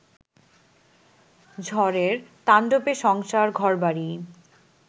ঝড়ের তাণ্ডবে সংসার, ঘরবাড়ি